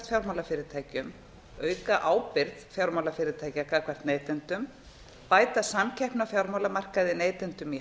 fjármálafyrirtækjum auka ábyrgð fjármálafyrirtækja gagnvart neytendum bæta samkeppni á fjármálamarkaði neytendum í